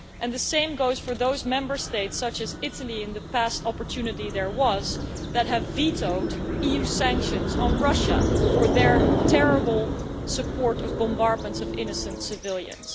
The same goes for those Member States, such as Italy, when there was an opportunity in the past, which have vetoed EU sanctions on Russia for their terrible support of the bombardment of innocent civilians.